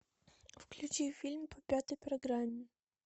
включи фильм по пятой программе